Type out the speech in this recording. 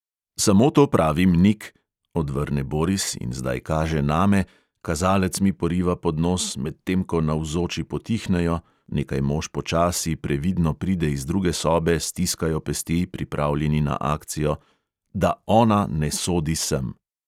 "Samo to pravim, nik," odvrne boris in zdaj kaže name, kazalec mi poriva pod nos, medtem ko navzoči potihnejo, nekaj mož počasi, previdno pride iz druge sobe, stiskajo pesti, pripravljeni na akcijo, "da ona ne sodi sem."